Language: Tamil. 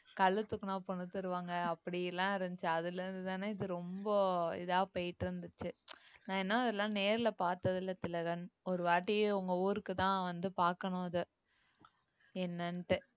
கல்ல தூக்கினா பொண்ணு தருவாங்க அப்படி எல்லாம் இருந்துச்சு அதுல இருந்துதானே இது ரொம்ப இதா போயிட்டு இருந்துச்சு நான் என்ன அதெல்லாம் நேர்ல பார்த்ததில்லை திலகன் ஒரு வாட்டி உங்க ஊருக்கு தான் வந்து பார்க்கணும் அத என்னனுட்டு